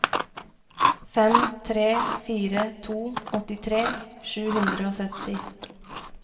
fem tre fire to åttitre sju hundre og sytti